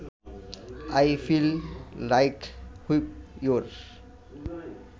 I feel like whip your